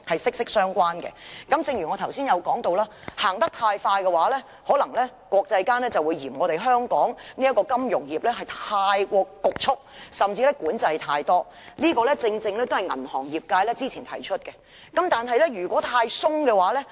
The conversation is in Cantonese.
正如我剛才提到，如果我們走得太快，國際間可能會嫌香港金融業過於侷促，甚至管制太多，這正正也是銀行業界之前提出的疑慮。